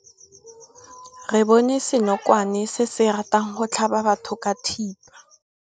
Re bone senokwane se se ratang go tlhaba batho ka thipa.